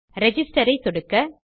register ஐ சொடுக்க